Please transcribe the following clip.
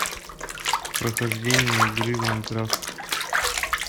прохождение игры майнкрафт